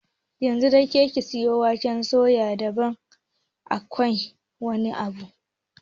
Yanzu da kika sayo waken suyan da ban aikeki ba, sai ki mayar!